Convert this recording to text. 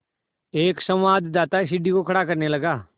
एक संवाददाता सीढ़ी को खड़ा करने लगा